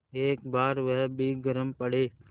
एक बार वह भी गरम पड़े